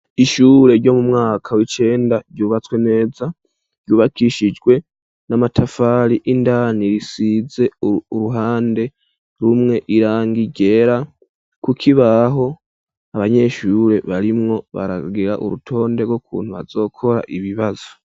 Ishure, ryo mu mwaka w'icenda, ryubatswe neza, ryubakishijwe n'amatafari; indani risize, uruhande rumwe, irangi ryera; ku kibaho, abanyeshure, barimwo baragira urutonde, rw'ukuntu bazokora, ibibazo.